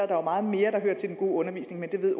der er meget mere der hører til den gode undervisning men det ved